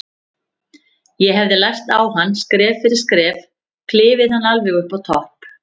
Ég hefði lært á hann, skref fyrir skref, klifið hann alveg upp á topp.